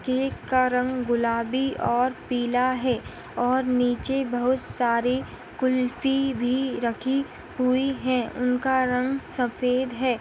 Cake का रंग गुलाबी और पीला है और नीचे बहुत सारी कुल्फी भी रखी हुई है उनका रंग सफ़ेद है।